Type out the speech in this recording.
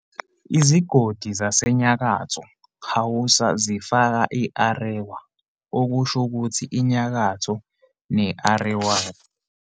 Izigodi zaseNyakatho Hausa zifaka i-"Arewa", okusho ukuthi 'iNyakatho', ne-"Arewaci".